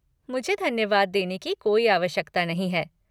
मुझे धन्यवाद देने की कोई आवश्यकता नहीं है।